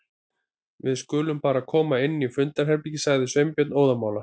Við skulum bara koma inn í fundarherbergi- sagði Sveinbjörn óðamála.